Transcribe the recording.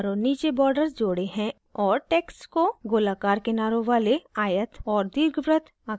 मैंने ऊपर और नीचे borders जोड़े हैं और texts को गोलाकार किनारों वाले आयत और दीर्घवृत्त आकृतियों से कवर किया है